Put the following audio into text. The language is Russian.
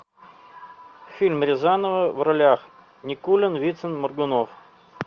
фильм рязанова в ролях никулин вицин моргунов